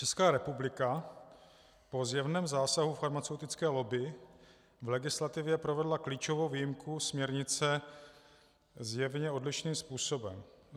Česká republika po zjevném zásahu farmaceutické lobby v legislativě provedla klíčovou výjimku směrnice zjevně odlišným způsobem.